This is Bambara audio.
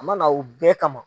A ma na o bɛɛ kama.